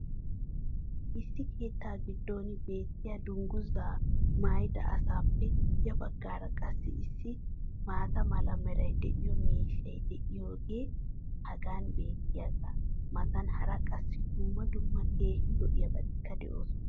Issi keettaa giddon beettiya dungguzaa maayidda asaappe ya bagaara qassi issi maata mala meray de'iyo miishshay diyaagee hagan beetiyaagaa matan hara qassi dumma dumma keehi lo'iyaabatikka de'oosona.